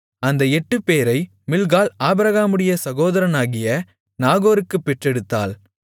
அந்த எட்டுப்பேரை மில்க்காள் ஆபிரகாமுடைய சகோதரனாகிய நாகோருக்குப் பெற்றெடுத்தாள்